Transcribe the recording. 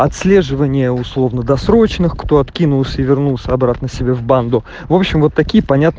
отслеживание условно-досрочных кто откинулся и вернулся обратно себе в банду в общем вот такие понятно